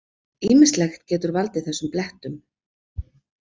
Ýmislegt getur valdið þessum blettum.